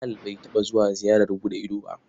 Bilal bai taɓa zuwa ziyarar buɗe ido ba.